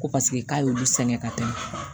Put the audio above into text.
Ko paseke k'a y'olu sɛgɛn ka tɛmɛ